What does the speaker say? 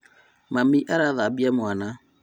Mami arathambia mwana